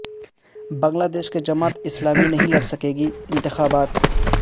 بنگلہ دیش کی جماعت اسلامی نہیں لڑ سکے گی انتخابات